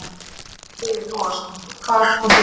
Breki Logason: Og hvað, hvað kom fyrir?